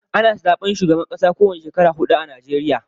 Ana zaɓen shugaban ƙasa ko wani shekara huɗu a Najeriya.